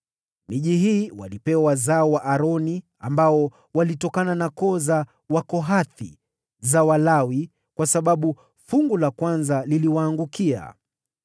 (miji hii walipewa wazao wa Aroni ambao walitokana na koo za Wakohathi wa Walawi, kwa sababu kura ya kwanza iliwaangukia):